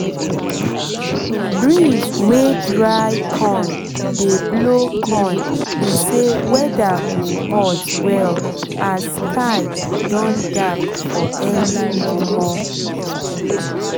breeze wey dry con dey blow con be say weather go hot well as sky don dark for early momo